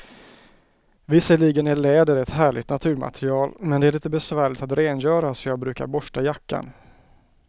Visserligen är läder ett härligt naturmaterial, men det är lite besvärligt att rengöra, så jag brukar borsta jackan.